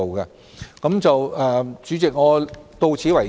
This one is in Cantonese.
代理主席，我發言到此為止。